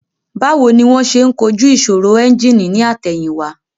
Báwo ni wón ṣe ń kojú ìṣòro ẹ́ńjìnì ní àtẹ̀yìn wá